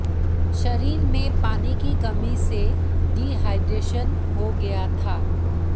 शरीर में पानी की कमी से डिहाइड्रेशन हो गया था